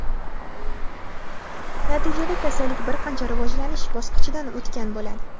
natijada kasallik bir qancha rivojlanish bosqichidan o‘tgan bo‘ladi.